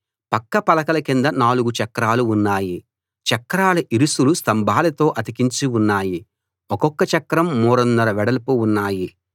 పక్క పలకల కింద 4 చక్రాలు ఉన్నాయి చక్రాల ఇరుసులు స్తంభాలతో అతికించి ఉన్నాయి ఒక్కొక్క చక్రం మూరన్నర వెడల్పు ఉన్నాయి